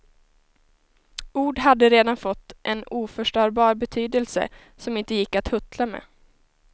Ord hade redan fått en oförstörbar betydelse som inte gick att huttla med.